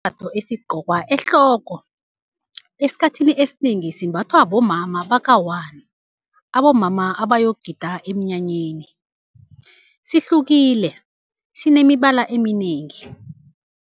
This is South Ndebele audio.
Sisembatho esigqokwa ehloko, esikhathini esinengi simbathwa bomama bakawani, abomama abayokugida emnyanyeni, sihlukile sinemibala eminengi.